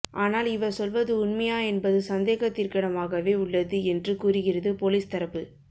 ஆனால் இவர் சொல்வது உண்மையா என்பது சந்தேகத்திற்கிடமாகவே உள்ளது என்று கூறுகிறது போலீஸ் தரப்பு